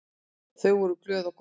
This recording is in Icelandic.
Þau voru glöð og góð.